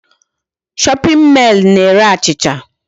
Shopping male na-ere achịcha.